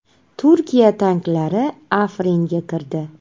Turkiya tanklari Afringa kirdi.